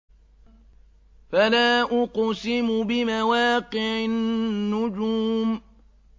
۞ فَلَا أُقْسِمُ بِمَوَاقِعِ النُّجُومِ